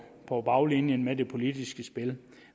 på baglinjen med det politiske spil